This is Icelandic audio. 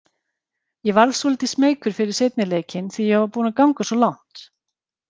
Ég varð svolítið smeykur fyrir seinni leikinn því ég var búinn að ganga svo langt.